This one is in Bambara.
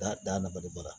Da dabaliba